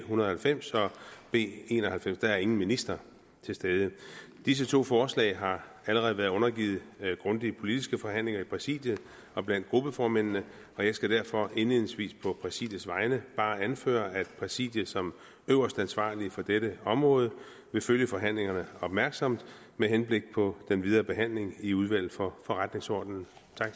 hundrede og halvfems og b en og halvfems der er ingen minister til stede disse to forslag har allerede været undergivet grundige politiske forhandlinger i præsidiet og blandt gruppeformændene og jeg skal derfor indledningsvis på præsidiets vegne bare anføre at præsidiet som øverste ansvarlige for dette område vil følge forhandlingerne opmærksomt med henblik på den videre behandling i udvalget for forretningsordenen